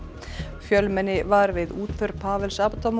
fjölmenni var við útför Pawels